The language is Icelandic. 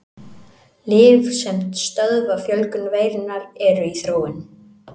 Lyf sem stöðva fjölgun veirunnar eru í þróun.